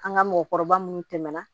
An ka mɔgɔkɔrɔba munnu tɛmɛna